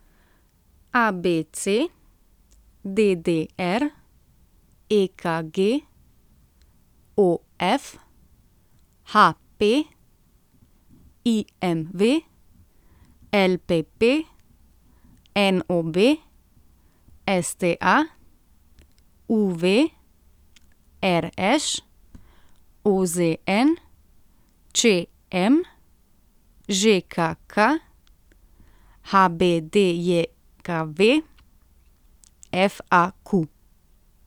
A B C; D D R; E K G; O F; H P; I M V; L P P; N O B; S T A; U V; R Š; O Z N; Č M; Ž K K; H B D J K V; F A Q.